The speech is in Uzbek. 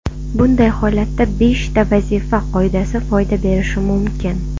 Bunday holatda beshta vazifa qoidasi foyda berishi mumkin.